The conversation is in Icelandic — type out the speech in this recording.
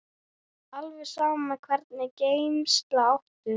alveg sama Hvernig gemsa áttu?